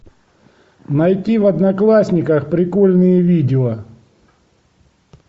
найди в одноклассниках прикольные видео